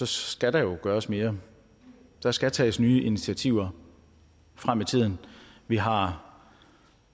skal der jo gøres mere der skal tages nye initiativer frem i tiden vi har